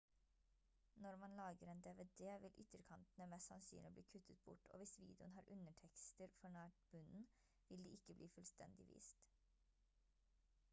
når man lager en dvd vil ytterkantene mest sannsynlig bli kuttet bort og hvis videoen har undertekster for nær bunnen vil de ikke bli fullstendig vist